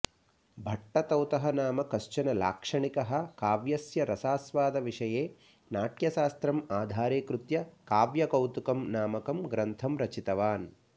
भट्टतौतः नाम कश्चन लाक्षणिकः काव्यस्य रसास्वादविषये नाट्यशास्त्रम् आधारीकृत्य काव्यकौतुकम् नामकं ग्रन्थं रचितवान्